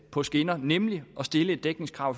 på skinner nemlig at stille et dækningskrav